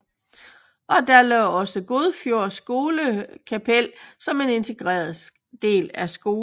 Og der lå også Godfjord skolekapel som en integreret del af skolen